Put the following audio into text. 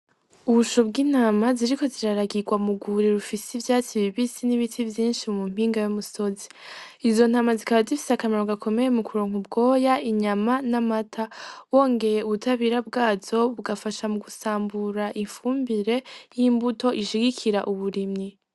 Ubusho bw’ intama buriko buraragirwa mu rwuri rufise ivyatsi bibisi n’ibiti vyinshi ku mpinga y’umusozi, izo ntama zikaba zifise akamaro gakomeye mu kuronka ubwoya ,inyama n’amata . Wongeye ubutabera bwazo bugafasha mugusambura ifumbire nk’imbuto ishigikira uburimyi.